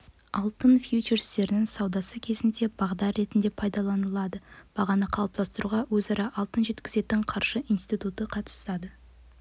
алтын фьючерстерінің саудасы кезінде бағдар ретінде пайдаланылады бағаны қалыптастыруға өзара алтын жеткізетін қаржы институты қатысады